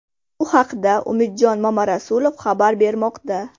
Bu haqda Umidjon Mamarasulov xabar bermoqda.